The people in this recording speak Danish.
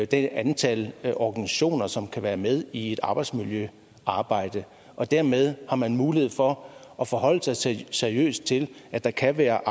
det antal organisationer som kan være med i et arbejdsmiljøarbejde og dermed har man mulighed for at forholde sig seriøst til at der kan være